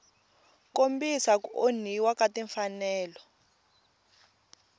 kombisa ku onhiwa ka timfanelo